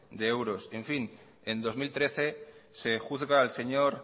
de euros y en fin en dos mil trece se juzga al señor